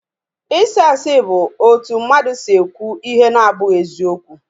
Isị asị bu otu mmadụ si ekwu ihe na-abụghị eziokwu